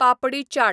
papdi chaat